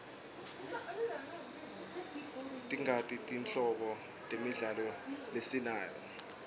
tingaki tinhlobo temidlalo lesinayo